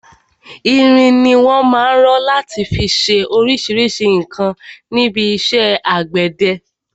Irin ni wọn má ń rọ láti fi ṣe oríṣríṣi nǹkan níbi iṣẹ́ àgbẹ̀dẹ.